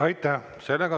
Aitäh!